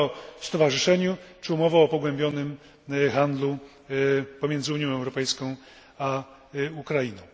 umowa o stowarzyszeniu, czy umowa o pogłębionym handlu pomiędzy Unią Europejską a Ukrainą.